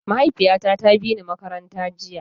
Mahaifiyata ta bini makaranta jiya.